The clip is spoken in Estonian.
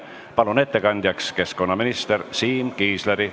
Palun ettekandjaks keskkonnaminister Siim Kiisleri.